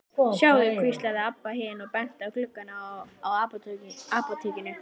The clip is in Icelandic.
Sjáðu, hvíslaði Abba hin og benti á gluggana á apótekinu.